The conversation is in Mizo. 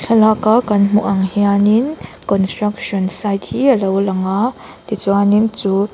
thlalaka kan hmuh ang hianin construction sight hi a lo lang a tichuanin chu--